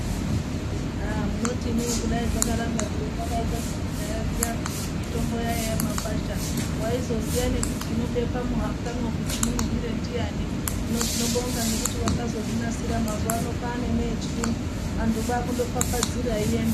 Aah munoti imim kudai zvakaramba zviro vakaitwa zvekudhaya zviya zvekuti mitombo yaiya mumakwasha waizoziya nekuti inobekwe muhapwamwo kuti munhuwire ndiani hino tinobonga ngekuti vakazo...